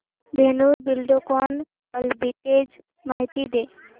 Dhenu Buildcon arbitrage माहिती दे